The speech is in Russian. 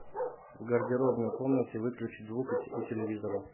в гардеробной комнате выключить звук у телевизора